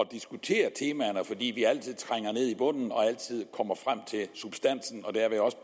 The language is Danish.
diskutere temaerne fordi vi altid trænger ned i bunden og altid kommer frem til substansen og derved også